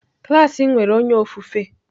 Klas m nwere onye ofufe.